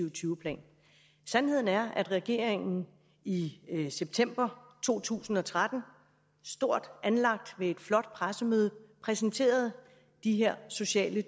og tyve plan sandheden er at regeringen i september to tusind og tretten stort anlagt ved et flot pressemøde præsenterede de her sociale